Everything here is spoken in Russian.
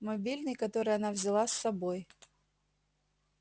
мобильный который она взяла с собой